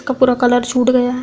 का पूरा कलर छूट गया है।